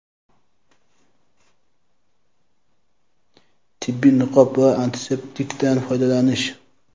tibbiy niqob va antiseptikdan foydalanish.